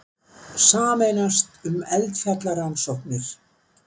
Sameinast um eldfjallarannsóknir